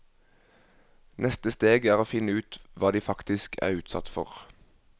Neste steg er å finne ut hva de faktisk er utsatt for.